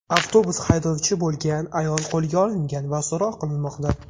Avtobus haydovchi bo‘lgan ayol qo‘lga olingan va so‘roq qilinmoqda.